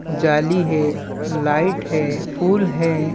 जाली है लाईट है फूल हैं।